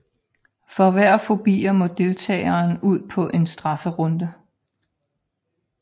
For hver forbier må deltageren ud på en strafferunde